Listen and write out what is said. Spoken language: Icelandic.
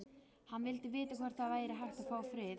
Hann vildi vita hvort það væri hægt að fá frið.